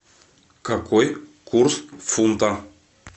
какой курс фунта